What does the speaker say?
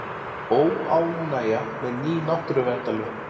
Óánægja með ný náttúruverndarlög